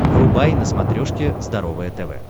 врубай на смотрешке здоровое тв